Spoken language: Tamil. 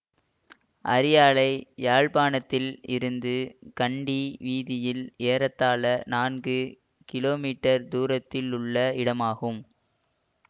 அரியாலை யாழ்ப்பாணத்தில் இருந்து கண்டி வீதியில் ஏறத்தாழ நான்கு கிமீ தூரத்திலுள்ள இடமாகும்